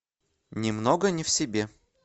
немного не в себе